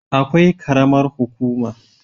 Akwai karamar hukuma